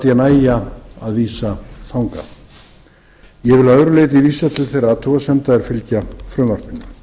læt ég nægja að vísa þangað ég vil að öðru leyti vísa til þeirra athugasemda er fylgja frumvarpinu